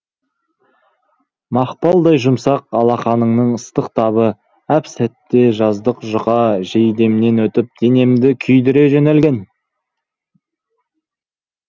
мақпалдай жұмсақ алақанының ыстық табы әп сәтте жаздық жұқа жейдемнен өтіп денемді күйдіре жөнелген